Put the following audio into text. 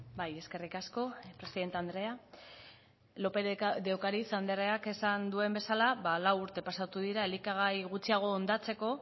bai eskerrik asko presidente andrea lópez de ocariz andreak esan duen bezala lau urte pasatu dira elikagai gutxiago hondatzeko